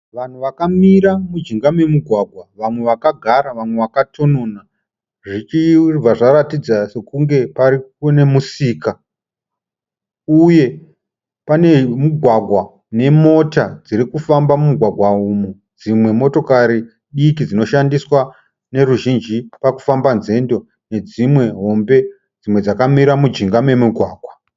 Vanhu vakamira mujinga memugwagwa vamwe vakagara vakatonona zvichibva zvaratidza sekunge pari kune musika uye pane mugwagwa nemota dzirikufamba mumugwagwa umu. Dzmwe motokari diki dzInoshandiswa neruzhinji pakufamba nzendo nedzimwe hombe. Dzimwe dzakamira mujinga memugwagwa.